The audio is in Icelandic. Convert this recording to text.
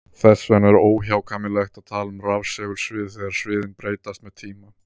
Þess vegna er óhjákvæmilegt að tala um rafsegulsvið þegar sviðin breytast með tíma.